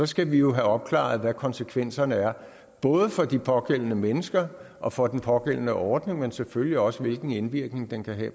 skal vi jo have opklaret hvad konsekvenserne er både for de pågældende mennesker og for den pågældende ordning men selvfølgelig også hvilken indvirkning den kan have